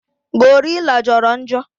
Gorilla Joro njo